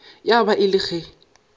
ya ba e le ge